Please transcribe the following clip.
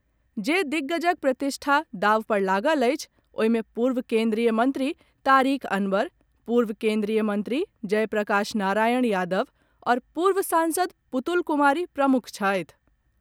जे दिग्गजक प्रतिष्ठा दांव पर लागल अछि ओहि मे पूर्व केंद्रीय मंत्री तारिक अनवर, पूर्व केंद्रीय मंत्री जयप्रकाश नारायण यादव आओर पूर्व सांसद पुतुल कुमारी प्रमुख छथि।